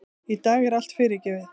Í dag er allt fyrirgefið.